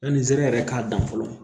Yanni nsɛrɛ yɛrɛ k'a dan fɔlɔ